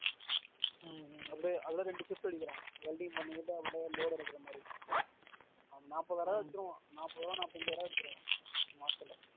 அப்டியே அதுல ரெண்டு ஷிப்ட் அடிக்கிறான் welding பண்ணிக்கிட்டு அப்படியே load எடுக்கறமாறி அவன் நாப்பது தடவ அடிச்சிருவா நாப்பது நாப்பது அஞ்சாயிரம் அடிச்சிருவா மாசத்துல